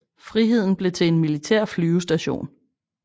Friheden blev til en militær flyvestation